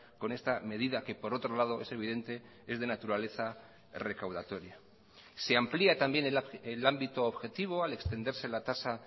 con esta medida que por otro lado es evidente es de naturaleza recaudatoria se amplía también el ámbito objetivo al extenderse la tasa